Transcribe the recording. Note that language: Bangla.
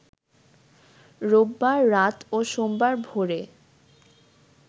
রোববার রাত ও সোমবার ভোরে